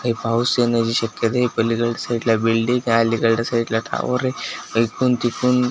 हे पाऊस येण्याची शक्यता आहे पलीकडच्या साईट ला बिल्डिंग आहे अलीकडच्या साईट ला टॉवर आहे इकडून तिकडून --